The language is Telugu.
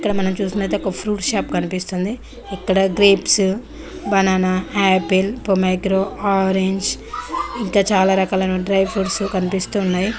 మనం చుసినట్టాయితే ఒక ఫ్రూట్ షాప్ కనిపిస్తుంది ఇక్కడ గ్రేప్స్ బననా ఆపిల్ ఆరంజ్ ఇంకా చాలా రకాల డ్రై ఫ్రూట్స్ కనిపిస్తూ ఉన్నాయి.